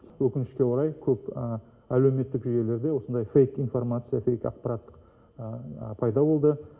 өкінішке орай көп әлеуметтік жүйелерде осындай фэйк информация фэйк ақпарат пайда болды